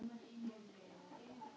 Því er betra að hafa ekki hátt.